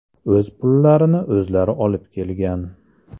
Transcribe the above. O‘z pullarini o‘zlari olib kelgan.